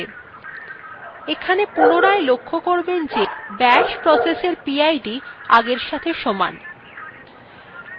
এখানে পুনরায় লক্ষ্য করবেন যে bashprocess এর pid আগের সাথে সমান